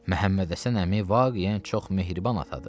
Məhəmmədhəsən əmi vaqiyən çox mehriban atadır.